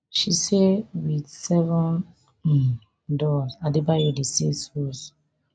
she say wit seven um doors adebayo dey save souls